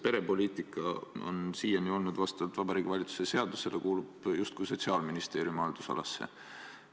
Perepoliitika on siiani vastavalt Vabariigi Valitsuse seadusele kuulunud justkui Sotsiaalministeeriumi haldusalasse.